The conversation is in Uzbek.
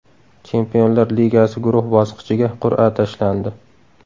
Chempionlar Ligasi guruh bosqichiga qur’a tashlandi.